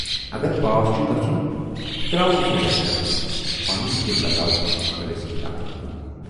اگر پاس چھُے گَژھُن، تراوُن سۅ یکطرف تہٕ پنُن دِل لگاو خٲلِص کِتابن کُن۔